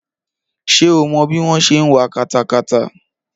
Ṣé o mọ bí wọ́n ṣe ń wa katakata?